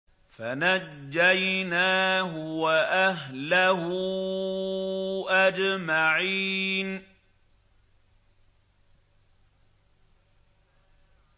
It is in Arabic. فَنَجَّيْنَاهُ وَأَهْلَهُ أَجْمَعِينَ